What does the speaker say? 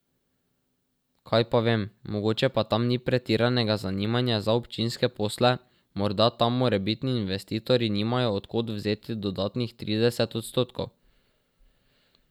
Kaj pa vem, mogoče pa tam ni pretiranega zanimanja za občinske posle, morda tam morebitni investitorji nimajo od kod vzeti dodatnih trideset odstotkov.